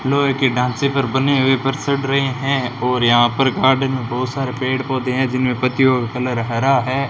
लोहे के ढांचे पर बने हुए पर चढ़ रहे हैं और यहां पर गार्डन में बहुत सारे पेड़ पौधे हैं जिनमें पत्तियों का कलर हरा है।